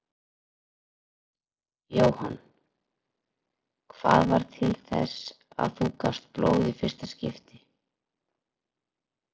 Jóhann: Hvað varð til þess að þú gafst blóð í fyrsta skipti?